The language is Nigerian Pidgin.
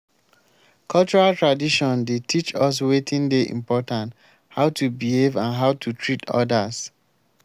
cultural tradition dey teach us wetin dey important how to behave and how to treat odas.